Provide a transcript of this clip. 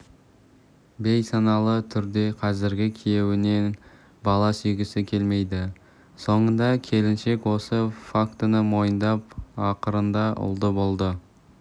бейсаналы түрде қазіргі күйеуінен бала сүйгісі келмейді соңында келіншек осы фактіні мойындап ақырында ұлды болды